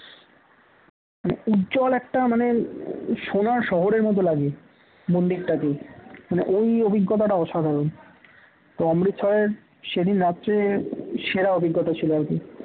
উজ্জ্বল একটা মানে সোনার শহরের মতো লাগে মন্দির টাকে মানে ওই অভিজ্ঞতা অসাধারণ তো অমৃতসরের সেদিন রাত্রে সেরা অভিজ্ঞতা ছিল আর কি